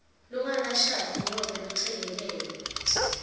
longakashadi nobe lochekekelwe